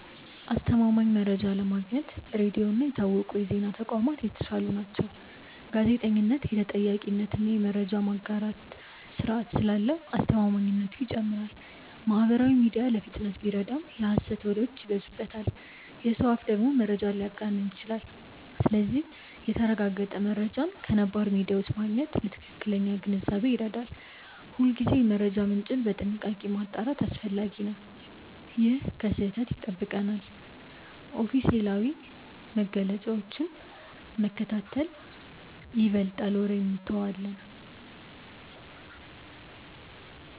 አስተማማኝ መረጃ ለማግኘት ሬዲዮ እና የታወቁ የዜና ተቋማት የተሻሉ ናቸው። ጋዜጠኝነት የተጠያቂነት እና የመረጃ ማጣራት ስርዓት ስላለው አስተማማኝነቱ ይጨምራል። ማህበራዊ ሚዲያ ለፍጥነት ቢረዳም የሐሰት ወሬዎች ይበዙበታል። የሰው አፍ ደግሞ መረጃን ሊያጋንን ይችላል። ስለዚህ የተረጋገጠ መረጃን ከነባር ሚዲያዎች ማግኘት ለትክክለኛ ግንዛቤ ይረዳል። ሁልጊዜ የመረጃ ምንጭን በጥንቃቄ ማጣራት አስፈላጊ ነው። ይህ ከስህተት ይጠብቀናል። ኦፊሴላዊ መግለጫዎችን መከታተል ይበልጣል ወሬን እንተዋለን።